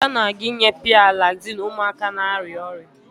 Ada na-aga inye P-Alaxin ụmụaka na-arịa ọrịa